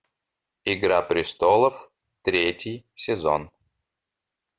игра престолов третий сезон